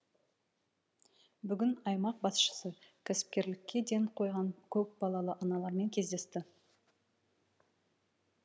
бүгін аймақ басшысы кәсіпкерлікке ден қойған көпбалалы аналармен кездесті